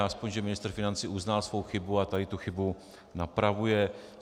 Aspoň že ministr financí uznal svou chybu a tady tu chybu napravuje.